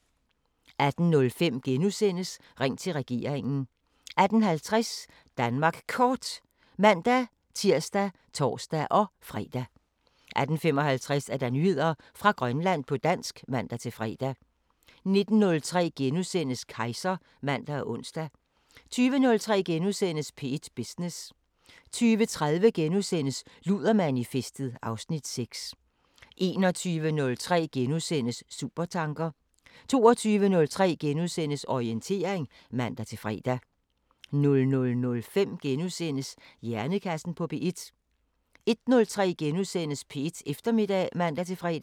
18:05: Ring til regeringen * 18:50: Danmark Kort (man-tir og tor-fre) 18:55: Nyheder fra Grønland på dansk (man-fre) 19:03: Kejser *(man og ons) 20:03: P1 Business * 20:30: Ludermanifestet (Afs. 6)* 21:03: Supertanker * 22:03: Orientering *(man-fre) 00:05: Hjernekassen på P1 * 01:03: P1 Eftermiddag *(man-fre)